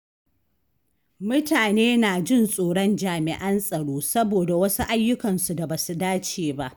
Mutane na jin tsoron jami'an tsaro saboda wasu ayyukansu da ba su dace ba.